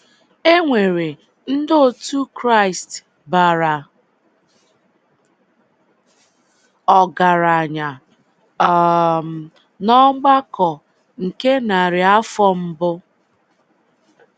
E nwere ndị otu Kraịst bara ọgaranya um n’ọgbakọ nke narị afọ mbụ.